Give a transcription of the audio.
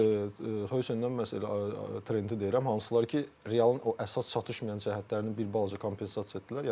Yox, Xoysendən məhz elə Trenti deyirəm, hansılar ki, Realın o əsas çatışmayan cəhətlərini bir balaca kompensasiya etdilər.